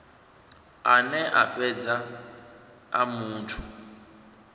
ane a fhedza a muthu